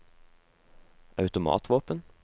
automatvåpen